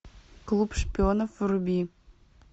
клуб шпионов вруби